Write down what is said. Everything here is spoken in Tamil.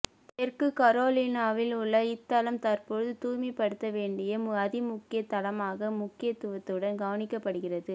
தெற்கு கரோலினாவில் உள்ள இத்தளம் தற்பொழுது தூய்மைப் படுத்த வேண்டிய அதிமுக்கியத் தளமாக முக்கியத்துவத்துடன் கவனிக்கப்படுகிறது